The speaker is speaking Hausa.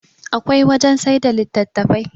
akwai wajen sai da litattafai